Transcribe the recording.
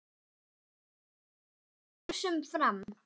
Þú ert algert öngvit svona!